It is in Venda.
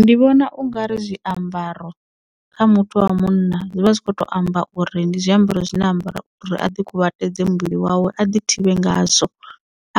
Ndi vhona ungari zwiambaro kha muthu wa munna zwivha zwi kho to amba uri ndi zwiambaro zwine a ambara uri a ḓi kuvhatedze muvhili wawe a ḓi thivhe ngazwo